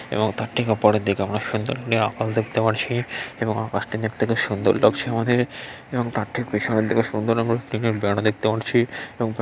এবং তার ঠিক পরের দিকে অনেক সুন্দর | এবং আকাশ টি দেখতে খুব সুন্দর লাগছে আমাদের | এবং তার ঠিক পিছনের দিকে সুন্দর রঙের একটা বেড়া দেখতে পাচ্ছি।